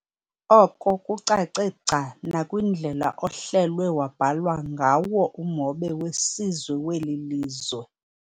Oko kucace gca nakwindlela ohlelwe wabhalwa ngawo umhobe wesizwe weli lizwe.